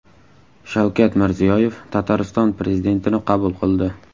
Shavkat Mirziyoyev Tatariston prezidentini qabul qildi .